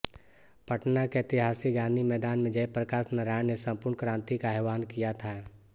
पटना के ऐतिहासिक गांधी मैदान में जयप्रकाश नारायण ने संपूर्ण क्रांति का आहवान किया था